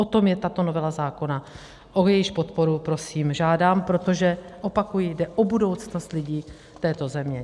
O tom je tato novela zákona, o jejíž podporu prosím žádám, protože opakuji, jde o budoucnost lidí této země.